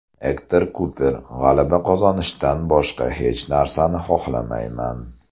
Ektor Kuper: G‘alaba qozonishdan boshqa hech narsani xohlamayman.